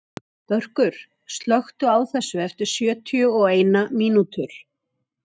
Börkur, slökktu á þessu eftir sjötíu og eina mínútur.